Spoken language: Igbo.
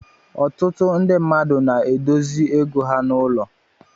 Ọtụtụ ndị mmadụ na-edozi ego ha n'ụlọ.